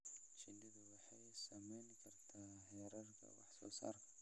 Shinnidu waxay saameyn kartaa heerarka wax soo saarka.